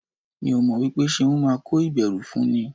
Mi ò mọ̀ wípé Ṣeun máa kó ìbẹ̀rù fún ni.